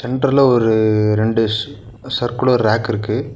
சென்ட்ருல ஒரு ரெண்டு ஸ் சர்குலர் ரேக் இருக்கு.